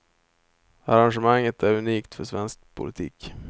Arrangemanget är unikt för svensk politik.